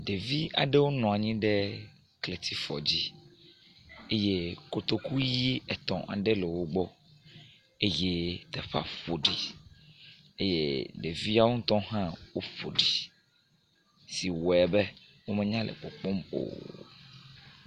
Ɖevi aɖewo nɔ anyi ɖe kletsifɔ dzi eye kotoku ʋi etɔ̃ aɖe le wo gbɔ eye teƒea ƒo ɖi eye ɖeviawo ŋutɔ hã woƒo ɖi siwoe be womenya le kpɔkpɔm o.